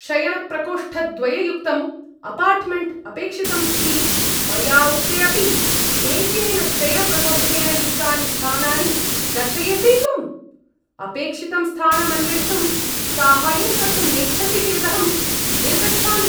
शयनप्रकोष्ठद्वययुक्तम् apartment अपेक्षितम् इति मया उक्ते अपि एकेन शयनप्रकोष्ठेन युक्तानि स्थानानि दर्शयसि त्वम्? अपेक्षितं स्थानम् अन्वेष्टुं साहाय्यं कर्तुं नेच्छसि चेदहं निर्गच्छामि।